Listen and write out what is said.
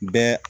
Bɛɛ